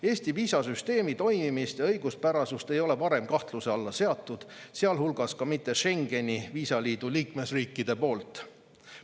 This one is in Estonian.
Eesti viisasüsteemi toimimist ja õiguspärasust ei ole varem kahtluse alla seatud, sealhulgas ka mitte Schengeni viisaliidu liikmesriikide poolt.